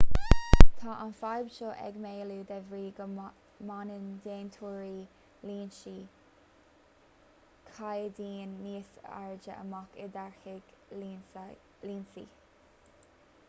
tá an fhadhb seo ag maolú de bhrí go mbaineann déantóirí lionsaí caighdeáin níos airde amach i dtáirgeadh lionsaí